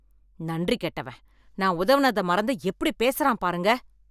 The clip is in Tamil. நன்றி கெட்டவன், நான் உதவுனத மறந்து எப்படி பேசுறான் பாருங்க.